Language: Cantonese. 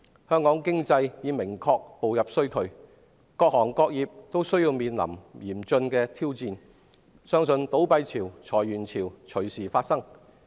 香港經濟已明確步入衰退，各行各業均面臨嚴峻挑戰，相信倒閉潮和裁員潮隨時會出現。